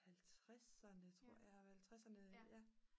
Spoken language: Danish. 50'erne tror jeg 50'erne ja